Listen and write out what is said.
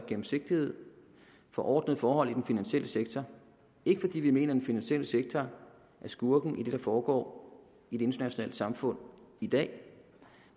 gennemsigtighed for ordnede forhold i den finansielle sektor ikke fordi vi mener at den finansielle sektor er skurken i det der foregår i det internationale samfund i dag